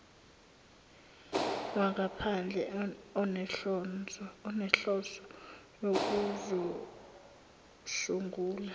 wangaphandle onenhloso yokuzosungula